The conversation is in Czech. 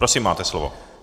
Prosím, máte slovo.